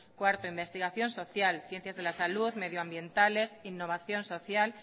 cuarto investigación social ciencias de la salud medioambientales innovación social